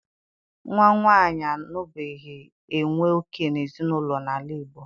Nwa nwaanyị anabughi enwe òkè n'ezinụlọ n'ala Igbo